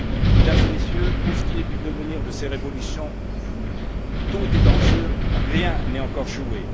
Mesdames et Messieurs, pour ce qui est du devenir de ces révolutions, tout est en jeu, rien n'est encore joué.